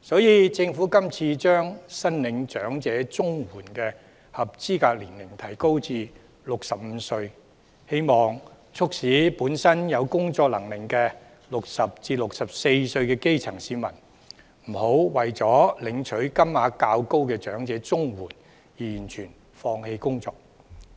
所以，政府今次把申領長者綜合社會保障援助的合資格年齡提高至65歲，希望促使本身具工作能力的60至64歲基層市民，不要為了領取金額較高的長者綜援而完全放棄工作，